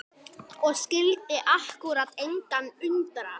Og skyldi akkúrat engan undra!